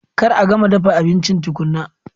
Kar a gama dafa abinci tukuna!